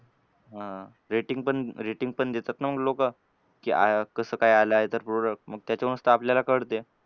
हां. Rating पण rating पण देतात ना मग लोकं की कसं काय आलाय ते product. मग त्याच्यावरूनच तर आपल्याला कळते.